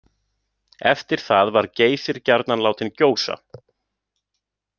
Eftir það var Geysir gjarnan látinn gjósa.